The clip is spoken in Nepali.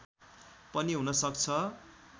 पनि हुन सक्छ